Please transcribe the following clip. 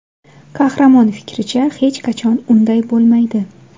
Qahramon fikricha, hech qachon unday bo‘lmaydi.